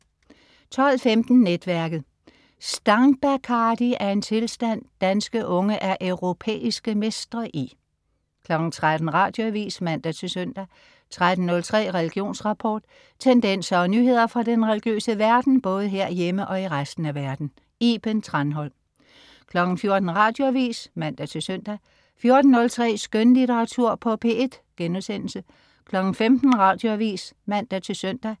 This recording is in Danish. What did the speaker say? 12.15 Netværket. Stangbacardi er en tilstand, danske unge er europæiske mestre i 13.00 Radioavis (man-søn) 13.03 Religionsrapport. Tendenser og nyheder fra den religiøse verden, både herhjemme og i resten af verden. Iben Thranholm 14.00 Radioavis (man-søn) 14.03 Skønlitteratur på P1* 15.00 Radioavis (man-søn)